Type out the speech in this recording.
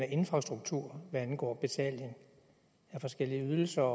infrastruktur hvad angår betaling af forskellige ydelser